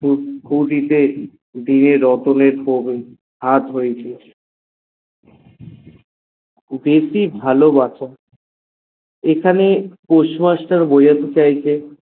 রতনে প্রবল হাত হয়েছে বেশি ভালোবাসা এখানে post master বোঝাতে চেয়েছে